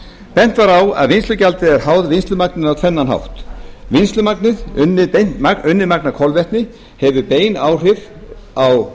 bent var á að vinnslugjaldið er háð vinnslumagninu á tvennan hátt vinnslumagnið unnið magn af kolvetni hefur bein áhrif á